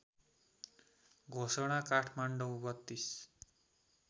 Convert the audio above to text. घोषणा काठमाडौँ ३२